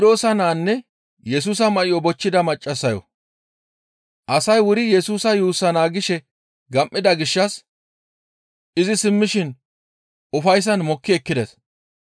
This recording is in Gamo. Asay wuri Yesusa yuussaa naagishe gam7ida gishshas izi simmishin ufayssan mokki ekkides.